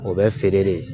O bɛ feere de